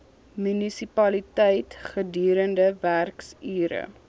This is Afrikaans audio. munisipaliteit gedurende werksure